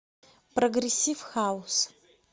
прогрессив хаус